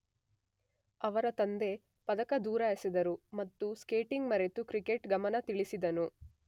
ಅವರ ತಂದೆ ಪದಕ ದೂರ ಎಸೆದರು ಮತ್ತು ಸ್ಕೇಟಿಂಗ್ ಮರೆತು ಕ್ರಿಕೆಟ್ ಗಮನ ತಿಳಿಸಿದನು.